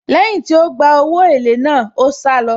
Lẹ́yìn tí ó gba owó èlé náà, ó sálọ.